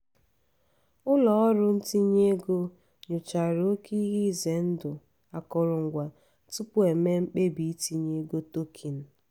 ụlọọrụ ntinye ego nyochara oke ihe ize ndụ akụrụngwa tupu o mee mkpebi itinye ego token.